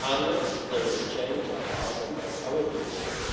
unless there is a change of heart among our British friends.